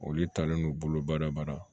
Olu taalen don bolobadaba la